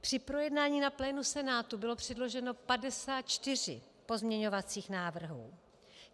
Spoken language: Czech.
Při projednání na plénu Senátu bylo předloženo 54 pozměňovacích návrhů.